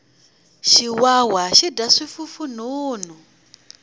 xiwawa xi dya swifufunhunhu